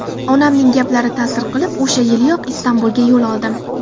Onamning gaplari ta’sir qilib, o‘sha yiliyoq Istanbulga yo‘l oldim.